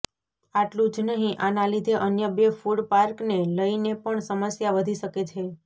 આટલું જ નહીં આના લીધે અન્ય બે ફૂડ પાર્કને લઈને પણ સમસ્યા વધી શકે છે